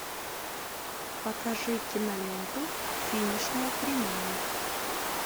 покажи киноленту финишная прямая